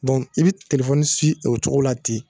i bi o cogo la ten